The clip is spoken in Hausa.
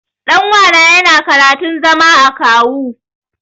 Ɗan uwana yana karantun zama akawu.